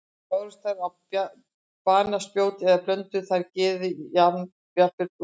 Bárust þær á banaspjót eða blönduðu þær geði og jafnvel blóði?